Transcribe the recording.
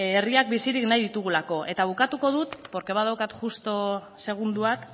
herriak bizirik nahi ditugulako eta bukatuko dut porque badaukat justu segunduak